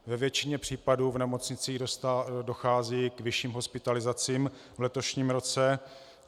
Ve většině případů v nemocnicích dochází k vyšším hospitalizacím v letošním roce.